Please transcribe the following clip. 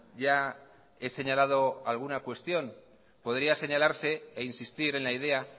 ya he señalado alguna cuestión podría señalarse e insistir en la idea